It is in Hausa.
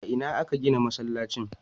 A ina aka gina masallacin?